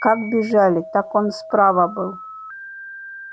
как бежали так он справа был